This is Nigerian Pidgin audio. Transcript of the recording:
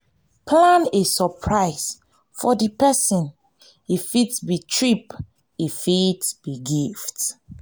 plan a suprise for di perosn e fit be trip e fit fit be gift